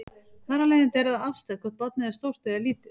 Þar af leiðandi er það afstætt hvort barnið er stórt eða lítið.